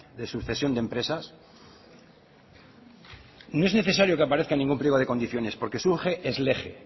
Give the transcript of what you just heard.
de sucesión de empresas no es necesaria que aparezca en ningún pliego de condiciones porque surge ex lege